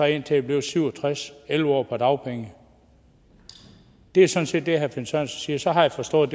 indtil jeg blev syv og tres elleve år på dagpenge det er sådan set det herre finn sørensen siger så har jeg forstået